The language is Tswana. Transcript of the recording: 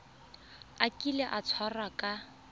a kile a tshwarwa ka